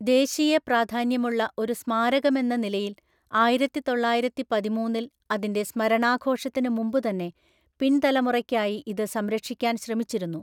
ദേശീയ പ്രാധാന്യമുള്ള ഒരു സ്മാരകമെന്ന നിലയിൽ ആയിരത്തിതൊള്ളായിരത്തിപതിമൂന്നില്‍ അതിന്റെ സ്മരണാഘോഷത്തിന് മുമ്പുതന്നെ, പിൻതലമുറയ്ക്കായി ഇത് സംരക്ഷിക്കാൻ ശ്രമിച്ചിരുന്നു.